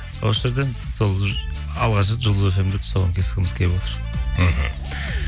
осы жерден алғаш рет жұлдыз фм де тұсауын кескіміз келіп отыр мхм